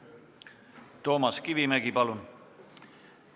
Toomas Kivimägi, palun!